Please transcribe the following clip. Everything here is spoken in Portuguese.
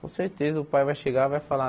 Com certeza o pai vai chegar e vai falar,